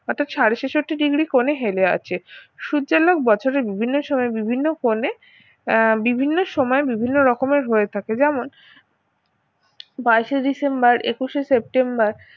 ওটা ছাড়ো ছেষট্টি degree কোণে হেলে আছে সূর্যালোক বছরের বিভিন্ন সময়ে বিভিন্ন কোনে আহ বিভিন্ন সময় বিভিন্ন রকমের হয়ে থাকে যেমন বাইশে ডিসেম্বর একুশে সেপ্টেম্বর